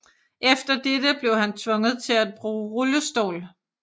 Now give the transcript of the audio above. Efter dette blev han tvunget til at bruge rullestol